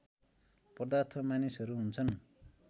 पदार्थ मानिसहरू हुन्छन्